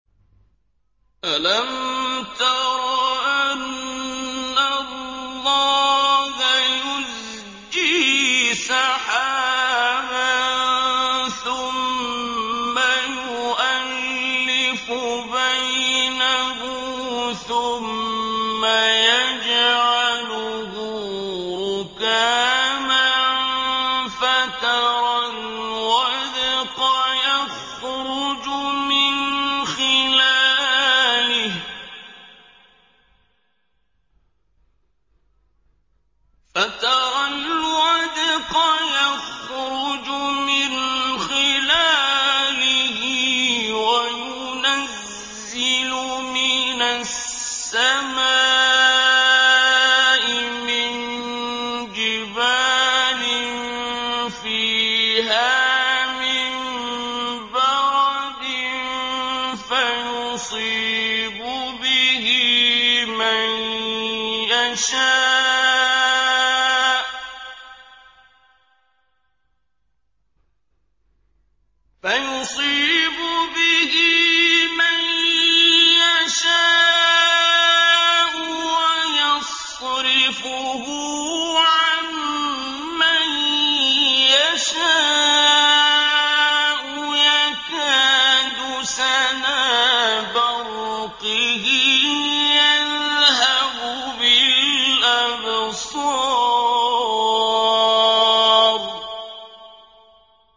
أَلَمْ تَرَ أَنَّ اللَّهَ يُزْجِي سَحَابًا ثُمَّ يُؤَلِّفُ بَيْنَهُ ثُمَّ يَجْعَلُهُ رُكَامًا فَتَرَى الْوَدْقَ يَخْرُجُ مِنْ خِلَالِهِ وَيُنَزِّلُ مِنَ السَّمَاءِ مِن جِبَالٍ فِيهَا مِن بَرَدٍ فَيُصِيبُ بِهِ مَن يَشَاءُ وَيَصْرِفُهُ عَن مَّن يَشَاءُ ۖ يَكَادُ سَنَا بَرْقِهِ يَذْهَبُ بِالْأَبْصَارِ